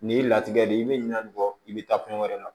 Nin y'i latigɛ de ye i bɛ ɲina nin kɔ i bɛ taa kɔɲɔ wɛrɛ la